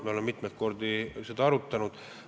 Me oleme mitmeid kordi seda arutanud.